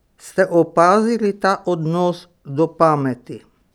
Ste opazili ta odnos do pameti?